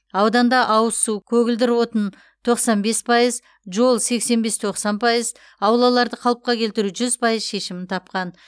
ауданда ауыз су көгілдір отын тоқсан бес пайыз жол сексен бес тоқсан пайыз аулаларды қалыпқа келтіру жүз пайыз шешімін тапқан